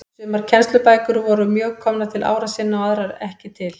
Sumar kennslubækur voru mjög komnar til ára sinna og aðrar ekki til.